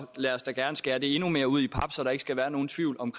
lad os da gerne skære det endnu mere ud i pap så der ikke skal være nogen tvivl om